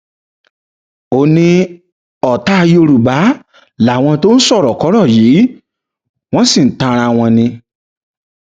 ó ní ọtá yorùbá làwọn tó ń sọrọkọrọ yìí wọn sì ń tan ara wọn ni